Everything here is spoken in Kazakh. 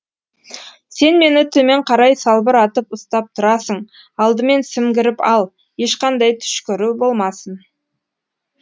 сен мені төмен қарай салбыратып ұстап тұрасың алдымен сімгіріп ал ешқандай түшкіру болмасын